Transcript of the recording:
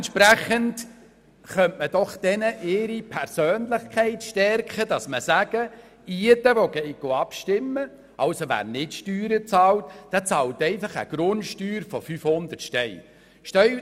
Also könnte man doch ihre Persönlichkeit stärken, indem man sagt, dass jeder, der abstimmen geht und keine Steuern bezahlt, einfach eine Grundsteuer von 500 Franken zahlt.